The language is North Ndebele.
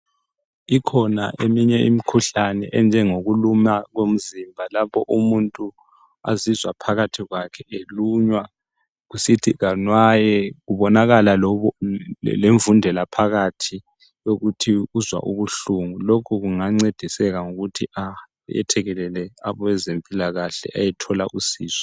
Ikhona eminye imkhuhlane enjengokuluma komzimba lapho umuntu azizwa phakathi kwakhe elunywa kusithi anwaye kubonakala lemvundela phakathi yokuthi uzwa ubuhlungu lokhu kungancediseka ngokuthi ayethekelele abezempilakahle ayethola usizo.